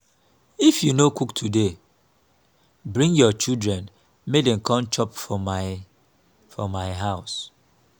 if you no cook today bring your children make dem come chop for my for my house